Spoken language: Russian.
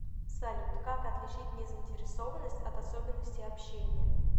салют как отличить незаинтересованность от особенностей общения